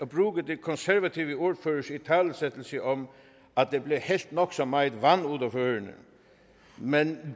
bruge de konservatives ordfører italesættelse om at der blev hældt nok så meget vand